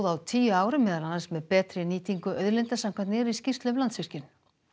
á tíu árum meðal annars með betri nýtingu auðlinda samkvæmt nýrri skýrslu um Landsvirkjun